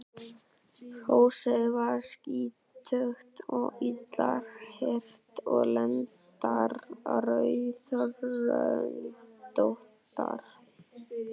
Hrossið var skítugt og illa hirt og lendarnar rauðröndóttar.